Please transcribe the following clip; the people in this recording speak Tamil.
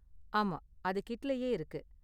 ஆமா, அது கிட்லயே இருக்கு.